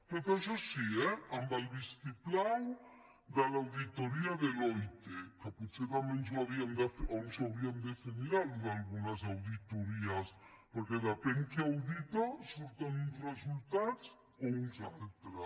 tot això sí eh amb el vistiplau de l’auditoria deloitte que potser també ens ho hauríem de fer mirar això d’algunes auditories perquè depèn qui audita surten uns resultats o uns altres